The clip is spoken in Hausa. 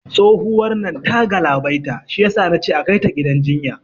Tsohuwar nan ta galabaita, shiyasa nace akai ta gidan jinya